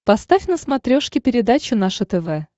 поставь на смотрешке передачу наше тв